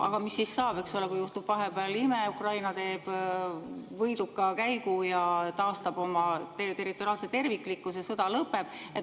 Aga mis siis saab, kui juhtub vahepeal ime ja Ukraina teeb võidukäigu ja taastab oma territoriaalse terviklikkuse, sõda lõpeb.